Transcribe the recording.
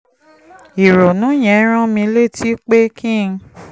ìrònú yẹn rán mi létí pé kí n